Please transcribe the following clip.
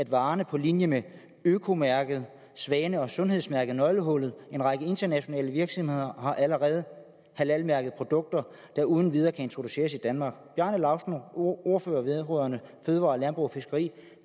varer på linje med økomærker svanen og sundhedsmærket nøglehullet en række internationale virksomheder har allerede halal mærkede produkter der uden videre kan introduceres i danmark bjarne laustsen ordfører vedrørende fødevarer landbrug og fiskeri